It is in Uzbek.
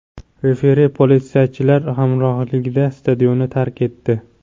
Referi politsiyachilar hamrohligida stadionni tark etdi.